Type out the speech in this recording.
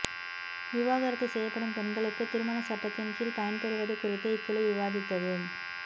விவாகரத்து செய்யப்படும் பெண்களுக்கு திருமண சட்டத்தின் கீழ் பயன்பெறுவது குறித்து இக்குழு விவாதித்தது